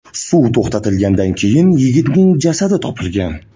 Suv to‘xtatilganidan keyin yigitning jasadi topilgan.